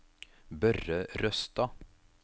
Børre Røstad